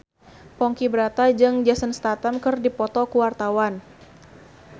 Ponky Brata jeung Jason Statham keur dipoto ku wartawan